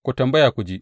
Ku tambaya ku ji.